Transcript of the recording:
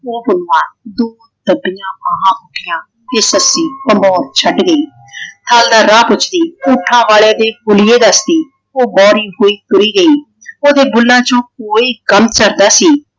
ਉਹ ਪੁਨੂੰਆਂ ਬਾਹਾਂ ਉੱਠੀਆਂ ਤੇ ਸੱਸੀ ਭੰਬੋਰ ਛੱਡ ਗਈ। ਹਲ ਨਾਲ ਰਾਹ ਪੁੱਛਦੀ। ਊਠਾਂ ਵਾਲੇ ਦੇ ਹੁਲੀਏ ਦੱਸਦੀ। ਉਹ ਬੋਲੀ ਹੋਈ ਤੁਰੀ ਗਈ। ਓਹਦੇ ਬੁੱਲਾਂ ਚੋ ਕੋਈ ਗ਼ਮ ਛੱਡ ਦਾ ਸੀ।